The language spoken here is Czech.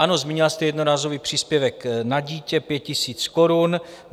Ano, zmínila jste jednorázový příspěvek na dítě 5 000 korun.